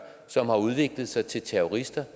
som har udviklet sig til terrorister